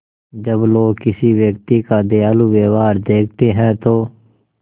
जब लोग किसी व्यक्ति का दयालु व्यवहार देखते हैं तो